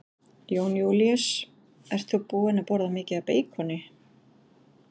Jón Júlíus: Ert þú búin að borða mikið af beikoni?